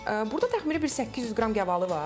Burda təxmini bir 800 qram gavalı var.